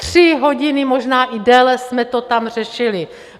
Tři hodiny, možná i déle, jsme to tam řešili.